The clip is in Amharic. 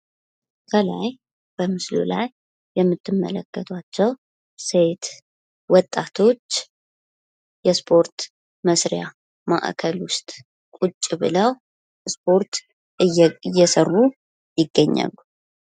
ከላይ በምስሉ ላይ የምትመለከቷቸው ሴት ወጣቶች የስፖርት መስሪያ ማእከል ዉስጥ ቁጭ ብለው ስፖርት እየሰሩ ይገኛሉ።